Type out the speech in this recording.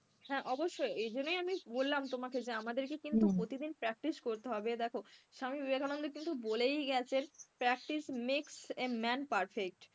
হ্যাঁ অবশ্যই এই জন্যই আমি বললাম তোমাকে যে আমাদেরকে কিন্তু প্রতিদিন practice করতে হবে, দেখ স্বামী বিবেকানন্দ কিন্তু বলেই গেছেন practice makes a man perfect.